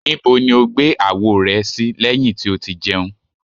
Nibo ni o gbe awo rẹ lẹhin ti o ti jẹun?